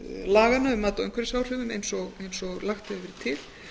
laganna um mat á umhverfisáhrifum eins og lagt hefur verið til